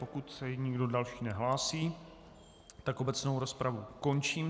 Pokud se nikdo další nehlásí, tak obecnou rozpravu končím.